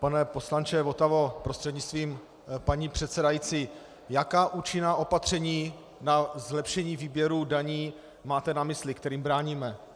Pane poslanče Votavo prostřednictvím paní předsedající, jaká účinná opatření na zlepšení výběru daní máte na mysli, kterým bráníme?